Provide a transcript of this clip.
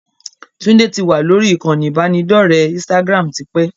Tunde tí wá lórí ìkànnì ibanidọ̀rẹ́ Instagram tipẹ́